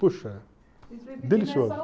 Puxa, delicioso.